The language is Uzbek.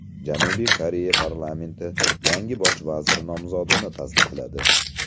Janubiy Koreya parlamenti yangi bosh vazir nomzodini tasdiqladi.